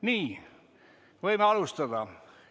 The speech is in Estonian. Nii, võime alustada.